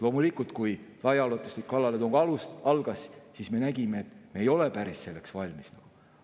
Loomulikult, kui laiaulatuslik kallaletung algas, siis me nägime, et me ei ole selleks päris valmis.